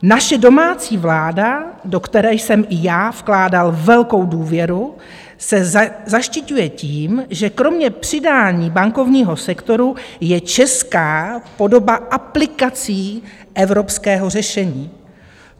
Naše domácí vláda, do které jsem i já vkládal velkou důvěru, se zaštiťuje tím, že kromě přidání bankovního sektoru je česká podoba aplikací evropského řešení.